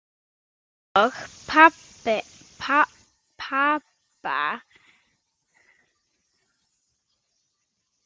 Og pabba!